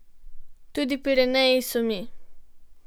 Tudi Pireneji so mi.